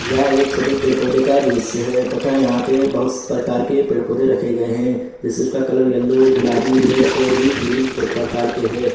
यह एक छोटे पेड़ पौधे का दृश्य है तथा यहां पे बहुत प्रकार के पेड़ पौधे रखे गए हैं जैसे उसका कलर यलो गुलाबी रेड और भी ग्रीन प्रकार के हैं।